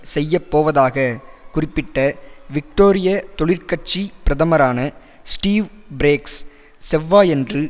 செய்ய போவதாக குறிப்பிட்ட விக்டோரிய தொழிற்கட்சி பிரதமரான ஸ்டீவ் பிரேக்ஸ் செவ்வாயன்று